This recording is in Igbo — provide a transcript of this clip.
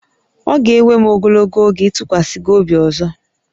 Ọ ga-ewe m ogologo oge ịtụkwasị gị obi ọzọ